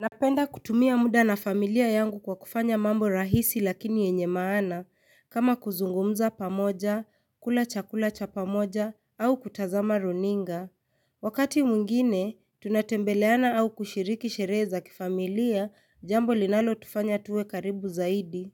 Napenda kutumia muda na familia yangu kwa kufanya mambo rahisi lakini yenye maana kama kuzungumza pamoja kula chakula cha pamoja au kutazama runinga Wakati mwingine tunatembeleana au kushiriki sherehe za kifamilia jambo linalotufanya tuwe karibu zaidi